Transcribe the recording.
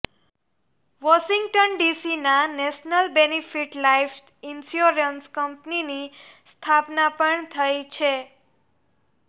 Washington ડીસીના national benefit life insurance કંપનીની સ્થાપના પણ થઈ છે